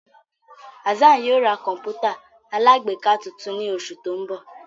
Hassan yóò ra kọǹpútà alágbèéká tuntun ni oṣu ti n bọ